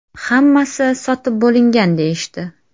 Hammasi sotib bo‘lingan deyishdi.